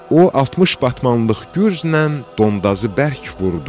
O 60 batmanlıq gücznən Dondazı bərk vurdu.